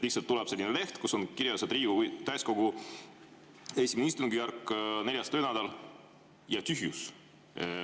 Lihtsalt tuleb selline leht, kus on kirjas, et Riigikogu täiskogu I istungjärk, 4. töönädal ja tühjus.